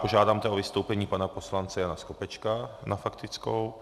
Požádám o vystoupení pana poslance Jana Skopečka na faktickou.